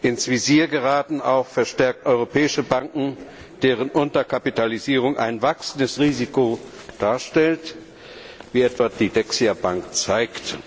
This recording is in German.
Ins Visier geraten auch verstärkt europäische Banken, deren Unterkapitalisierung ein wachsendes Risiko darstellt, wie etwa die Dexia Bank zeigt.